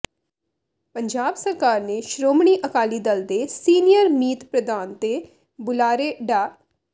ਪੰਜਾਬ ਸਰਕਾਰ ਨੇ ਸ਼੍ਰੋਮਣੀ ਅਕਾਲੀ ਦਲ ਦੇ ਸੀਨੀਅਰ ਮੀਤ ਪ੍ਰਧਾਨ ਤੇ ਬੁਲਾਰੇ ਡਾ